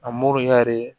A moriya ye